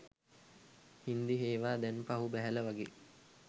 හින්දි හේවා දැන් පහු බැහැල වගේ